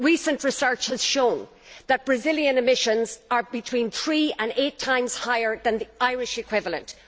Recent research has shown that Brazilian emissions are between three and eight times higher than the Irish equivalent.